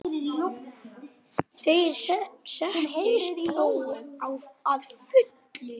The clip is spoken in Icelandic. Þeir sættust þó að fullu.